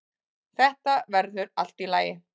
Þetta verður allt í lagi.